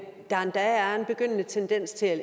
der endda er en begyndende tendens til at